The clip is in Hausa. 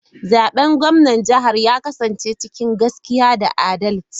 Zaben gwamnan jihara ya kasance cikin gaskiya da adalci.